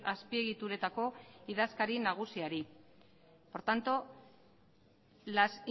azpiegituretako idazkari nagusiari por tanto las